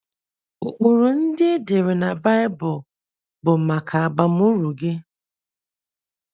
Ụkpụrụ ndị e dere na Baịbụl bụ maka abamuru gị.